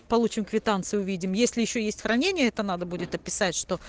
получим квитанцию увидим если ещё есть хранение это надо будет описать что